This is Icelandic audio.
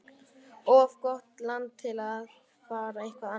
Of gott land til að fara eitthvað annað.